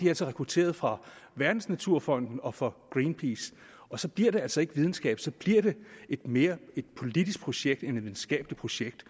er rekrutteret fra verdensnaturfonden og fra greenpeace og så bliver det altså ikke videnskab så bliver det mere et politisk projekt end et videnskabeligt projekt